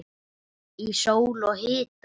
Í sól og hita.